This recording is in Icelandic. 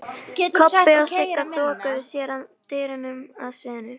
Kobbi og Sigga þokuðu sér að dyrunum að sviðinu.